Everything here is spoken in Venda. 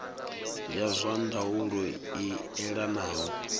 ya zwa ndaulo i elanaho